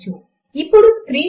mark up ను copy paste చేయండి